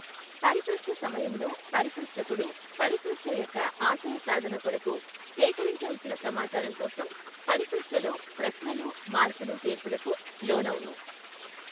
పరిపృచ్ఛ సమయములో పరిపృచ్ఛకుడు పరిపృఛ్ఛ యొక్క ఆశయ సాధన కొరకు సేకరించవలసిన సమాచారం కోసం పరిపృచ్ఛలో ప్రశ్నలు మార్పులు చేర్పులకు లోనవును.